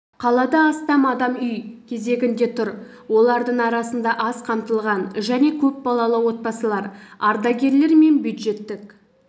қалада астам адам үй кезегінде тұр олардың арасында аз қамтылған және көпбалалы отбасылар ардагерлер мен бюджеттік